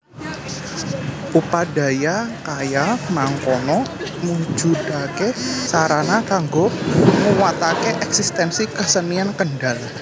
Upadaya kaya mangkono mujudake sarana kanggo nguwatake eksistensi kesenian Kendal